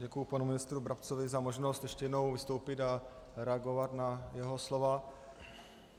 Děkuji panu ministru Brabcovi za možnost ještě jednou vystoupit a reagovat na jeho slova.